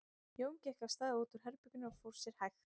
Jón gekk af stað út úr herberginu og fór sér hægt.